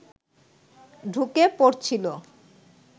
ঢুকে পড়ছিল